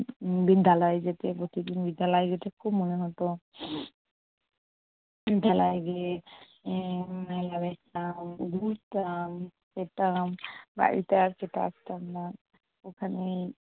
বিদ্যালয় যেতে প্রতিদিন বিদ্যালয় যেতে খুব মনে হত । বিদ্যালয় গিয়ে উম মেলা দেখতাম, ঘুরতাম, খেতাম, বাড়িতে আর খেতে আসতাম না। ওখানেই